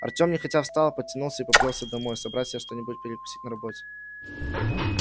артём нехотя встал потянулся и поплёлся домой собрать себе что-нибудь перекусить на работе